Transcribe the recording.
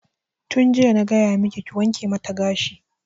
Tun jiya na gaya maki ki wanke mata gashi!